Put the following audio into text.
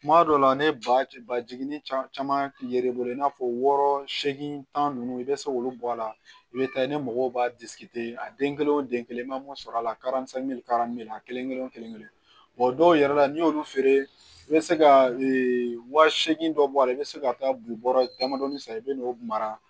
Kuma dɔw la ne ba jiginni caman ye e bolo i n'a fɔ wɔɔrɔ seegin tan nunnu i be se k'olu bɔ a la i be taa ne mɔgɔw b'a a den kelen o den kelen i ma mun sɔrɔ a la kelen kelen o kelen kelen dɔw yɛrɛ la n'i y'olu feere i be se ka wa seegin dɔ bɔ a la i be se ka taa buwarɛ damadɔni san i be n'o mara